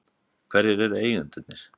Hverjir eru eigendurnir?